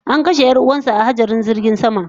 An kashe yar'uwansa a hatsarin jirgin sama